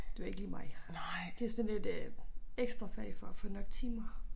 Det var ikke lige mig. Det sådan et øh ekstra fag for at få nok timer